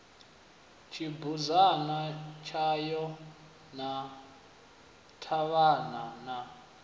tshibudzana tshayo na ṱhavhana na